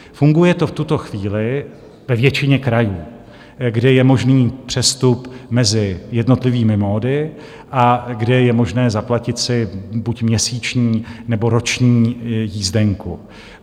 Funguje to v tuto chvíli ve většině krajů, kde je možný přestup mezi jednotlivými módy a kde je možné zaplatit si buď měsíční, nebo roční jízdenku.